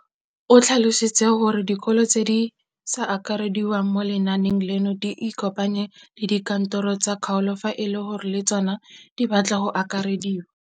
O tlhalositse gore dikolo tse di sa akarediwang mo lenaaneng leno di ikopanye le dikantoro tsa kgaolo fa e le gore le tsona di batla go akarediwa.